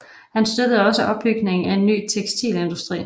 Han støttede også opbygningen af en ny tekstilindustri